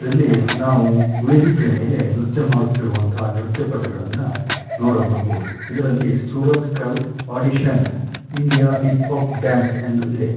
ಇದರಲ್ಲಿ ನಾವು ವೇದಿಕೆ ಮೇಲೆ ನೃತ್ಯ ಮಾಡುತ್ತಿರುವಂತಹ ನೃತ್ಯಪಟುಗಳನ್ನು ನೋಡಬಹುದು ಇದರಲ್ಲಿ ಶೂರತ್ಕಲ್ ಪಾದಿತ್ಯ ಇಂಡಿಯಾ ಹಿಪ್ ಆಫ್ ಡ್ಯಾನ್ಸ್ ಎಂದು ಇದೆ.